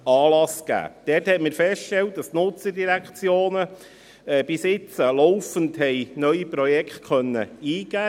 Wir haben festgestellt, dass die Nutzerdirektionen bisher laufend neue Projekte eingeben konnten.